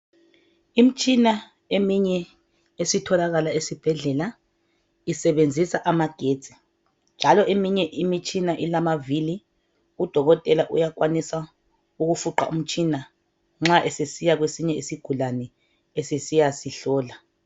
Imtshina eminye esitholakala esibhedlela isebenzisa amagetsi. Njalo eminye imitshina ilamavili. Udokotela uyakwanisa ukufuqa umtshina nxa esesiya kwesinye isigulane esesiyasihlola.